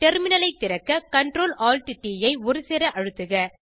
டெர்மினலை திறக்க CTRLALTT ஐ ஒருசேர அழுத்துக